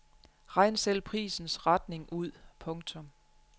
Regn selv prisens retning ud. punktum